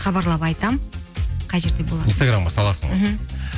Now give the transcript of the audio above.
хабарлап айтамын қай жерде болатын инстаграмға саласың ғой мхм